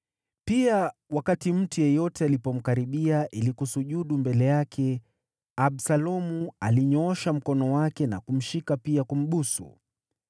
Pia, wakati mtu yeyote alipomkaribia ili kusujudu mbele yake, Absalomu alinyoosha mkono wake na kumshika pia kumbusu.